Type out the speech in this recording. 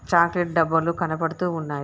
Chocolate డబ్బాలు కనబడుతూ ఉన్నాయి.